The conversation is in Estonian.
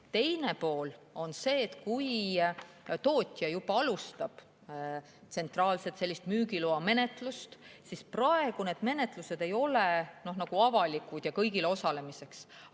Teine pool on see, et kui tootja alustab tsentraalset müügiloamenetlust, siis need menetlused ei ole praegu avalikud ega mõeldud kõigile osalemiseks.